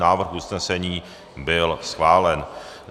Návrh usnesení byl schválen.